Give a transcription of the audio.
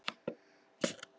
Þá gæti allt gerst.